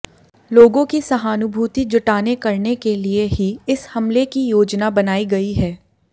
लोगों की सहानुभूति जुटाने करने के लिये ही इस हमले की योजना बनाई गई है